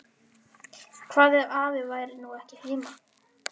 Hvað ef afi væri nú ekki heima?